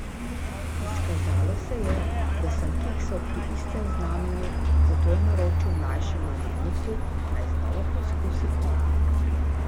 Izkazalo se je, da sem kiksal pri istem znamenju, zato je naročil mlajšemu vodniku, naj znova poizkusi on.